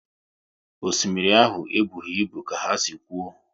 Osimiri ahụ e bụghị ibu ka ha si kwuo